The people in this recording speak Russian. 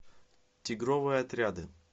тигровые отряды